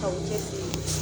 K'aw cɛsiri